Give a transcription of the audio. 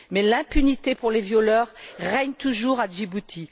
Mais l'impunité pour les violeurs règne toujours à Djibouti.